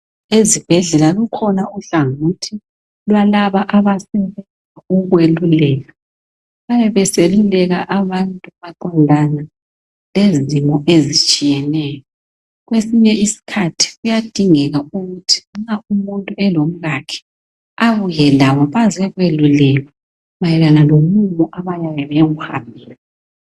Ezibhedlela kukhona uhlangothi lwalaba abasebenza ukweluleka. Bayabe beseluleka abantu maqondana lezimo ezitshiyeneyo. Kwesinye kuyadingeka ukuthi isikhathi nxa umuntu elomkhakhe abuye labo bezekwelulekwa mayelana lomumo abayabe bewuhambele.